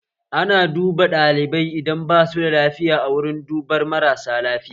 Ana duba ɗalibai idan basu da lafiya a wurin duba marar lafiya